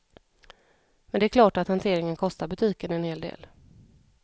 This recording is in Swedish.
Men det är klart att hanteringen kostar butiken en hel del.